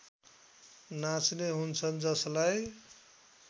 नाच्ने हुन्छन् जसलाई